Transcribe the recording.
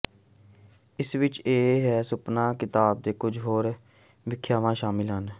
ਇਸ ਵਿਚ ਇਹ ਵੀ ਸੁਪਨਾ ਕਿਤਾਬ ਦੇ ਕੁਝ ਹੋਰ ਵਿਆਖਿਆ ਸ਼ਾਮਿਲ ਹੈ